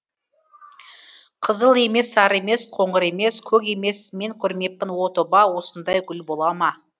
қызыл емес сары емес қоңыр емес көк емес мен көрмеппін о тоба осындай гүл бола ма